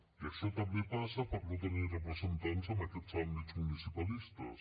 i això també passa per no tenir representants en aquests àmbits municipalistes